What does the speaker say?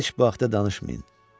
Heç vaxta danışmayın.